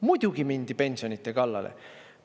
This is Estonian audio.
Muidugi mindi pensionide kallale.